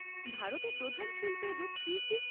ভারতে প্রধান শিল্পের রূপ কি কি?